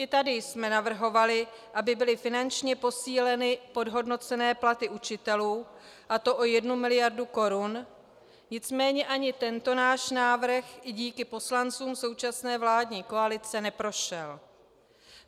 I tady jsme navrhovali, aby byly finančně posíleny podhodnocené platy učitelů, a to o jednu miliardu korun, nicméně ani tento náš návrh i díky poslancům současné vládní koalice neprošel.